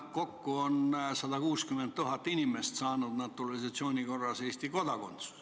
Kokku on 160 000 inimest saanud naturalisatsiooni korras Eesti kodakondsuse.